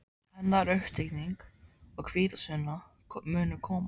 Hennar uppstigning og hvítasunna munu koma.